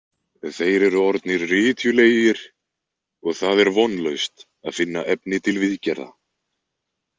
Þeir eru orðnir rytjulegir og það er vonlaust að finna efni til viðgerða.